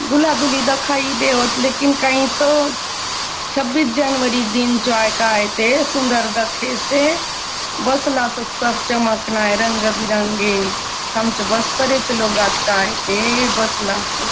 दुल्हा -दुल्हनी दखा ही नी देवत लेकिन कई तो छब्बीस जनवरी दिन चो आय काय दे सुन्दर दखेसे बसला सोत सब चमक नाय रे रंग बी रंगे आमचों बस्तर चो लोग आय कायने बसला सोत।